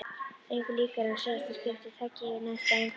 Engu líkara en síðasta skipti taki yfir næsta á undan.